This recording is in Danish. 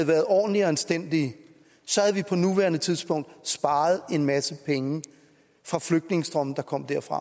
været ordentlige og anstændige så havde vi på nuværende tidspunkt sparet en masse penge fra flygtningestrømme der kom derfra